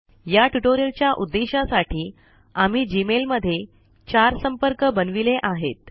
या ट्यूटोरियल च्या उद्देशासाठी आम्ही जीमेल मध्ये 4 संपर्क बनविले आहेत